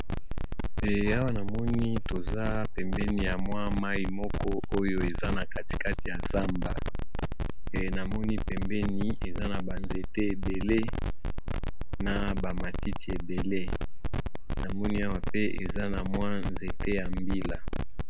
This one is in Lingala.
Awa namoni toza pembeni ya mwa mai moko oyo eza na katikati ya zamba pe namoni pembeni eza na banzete ebele na bamatiti ebele namoni awa pe eza na mwa nzete ya mbila.